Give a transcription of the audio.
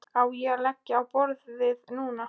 Á ég að leggja á borðið núna?